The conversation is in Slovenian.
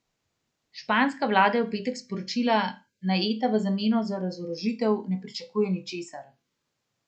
Španska vlada je v petek sporočila, naj Eta v zameno za razorožitev ne pričakuje ničesar.